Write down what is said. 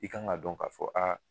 I kan ka dɔn k'a fɔ a